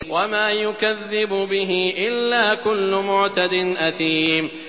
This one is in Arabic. وَمَا يُكَذِّبُ بِهِ إِلَّا كُلُّ مُعْتَدٍ أَثِيمٍ